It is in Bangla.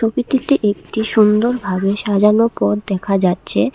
ছবিটিতে একটি সুন্দরভাবে সাজানো পথ দেখা যাচ্ছে।